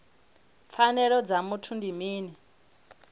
pfanelo dza muthu ndi mini